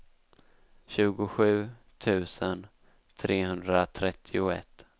tjugosju tusen trehundratrettioett